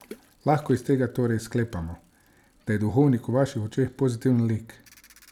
Lahko iz tega torej sklepamo, da je Duhovnik v vaših očeh pozitiven lik?